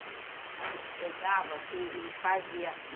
A gente pegava e e fazia.